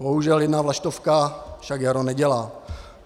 Bohužel jedna vlaštovka však jaro nedělá.